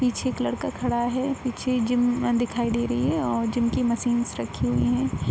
पीछे एक लड़का खड़ा है पीछे जिम दिखाई दे रही है और जिम की मशीन्स रखी हुई है।